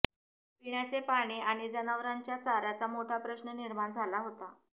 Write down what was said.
पिण्याचे पाणी आणि जनावरांच्या चार्याचा मोठा प्रश्न निर्माण झाला होता